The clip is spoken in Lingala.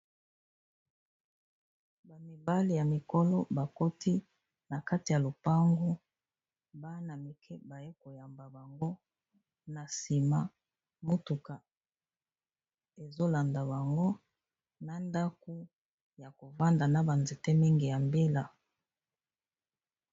Ba mibali ya mikolo bakoti na kati ya lopango, bana mike baye koyamba bango, na sima motuka ezolanda bango, na ndaku ya kovanda, na banzete mingi ya mbila.